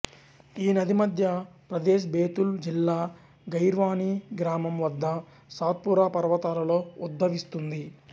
ఈ నది మధ్య ప్రదేశ్ బేతుల్ జిల్లా ఖైర్వానీ గ్రామం వద్ద సాత్పురా పర్వతాలలో ఉద్భవిస్తుంది